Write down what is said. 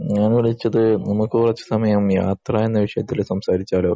ഞാൻ വിളിച്ചത് നമ്മക്ക് കുറച്ച സമയം യാത്ര എന്ന സംസാരിച്ചാലോ